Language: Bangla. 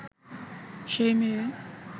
সেই মেয়ে